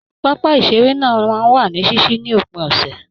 Pápá iṣere náà máa n wà ní ṣiṣi ní òpin ọsẹ.